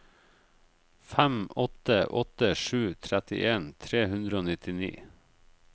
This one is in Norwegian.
fem åtte åtte sju trettien tre hundre og nittini